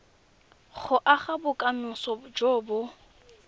go aga bokamoso jo bo